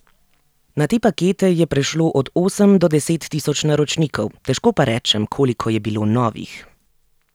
Na te pakete je prešlo od osem do deset tisoč naročnikov, težko pa rečem, koliko je bilo novih.